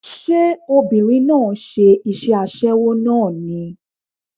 Ṣé obìnrin náà ń ṣe iṣẹ́ aṣẹ́wó náà ni?